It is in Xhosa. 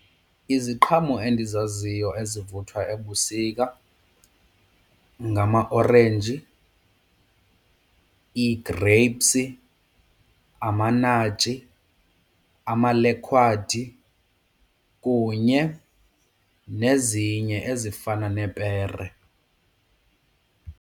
Iziqhamo endizaziyo ezivuthwa ebusika ngamaorenji, ii-grapes, amanatshi, amalekhwadi kunye nezinye ezifana neepere.